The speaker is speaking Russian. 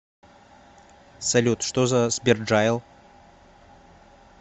салют что за сберджайл